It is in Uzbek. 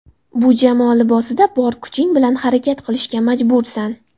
Bu jamoa libosida bor kuching bilan harakat qilishga majbursan.